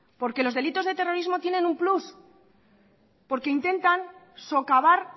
porque los delitos de terrorismo tiene un plus porque intentan socavar